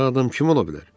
Belə adam kim ola bilər?